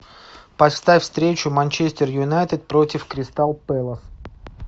поставь встречу манчестер юнайтед против кристал пэлас